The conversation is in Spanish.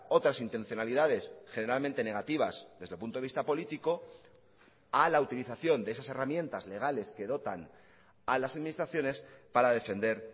otras intencionalidades generalmente negativas desde el punto de vista político a la utilización de esas herramientas legales que dotan a las administraciones para defender